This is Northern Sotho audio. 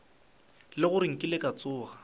le gore nkile ka tsoga